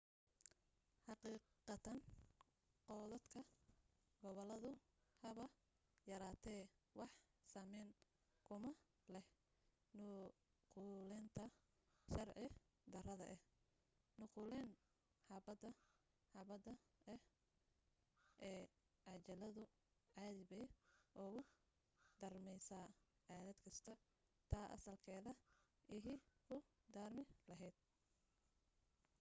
xaqiiqatan koodadka gobaladu haba yaraatee wax saamayna kuma leh nuqulaynta sharci darrada ah nuqulayn xabbad-xabbada ah ee cajaladu caadi bay ugu daarmaysaa aalad kasta ta asalka ahi ku daarmi lahayd